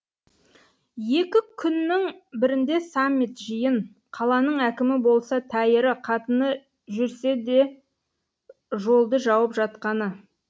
екі күннің бірінде саммит жиын қаланың әкімі болса тәйірі қатыны жүрсе де жолды жауып жатқаны